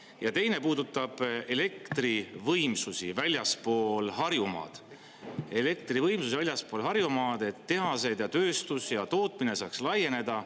Ja teine puudutab elektrivõimsusi väljaspool Harjumaad – elektrivõimsusi väljaspool Harjumaad, et tehaseid ja tööstus ja tootmine saaks laieneda.